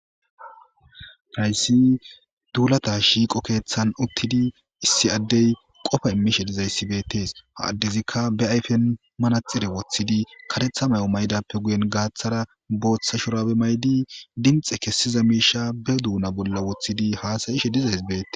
Praysi duulata shiiqo keeththan uttidi issi addey qofa immishe dizayssibetees ha addezikka be ayfen manaxire woththidi katetha may'o maydappe guyen gaaththara booththa shurabe maydi dinxe kessiza miisha be duuna bolla woththidi haasayishe dizaysbee.